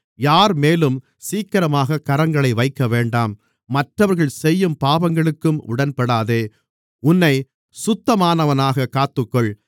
யார்மேலும் சீக்கிரமாகக் கரங்களை வைக்கவேண்டாம் மற்றவர்கள் செய்யும் பாவங்களுக்கும் உடன்படாதே உன்னைச் சுத்தமானவனாகக் காத்துக்கொள்